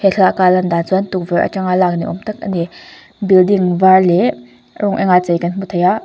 he thlalak a alan dan chuan tukverh atanga lak ni awm tak a ni building var leh rawng eng a chei kan hmu thei a.